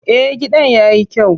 Eh, gidan yayi kyau.